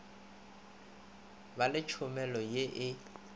ba le tšhomelo ye e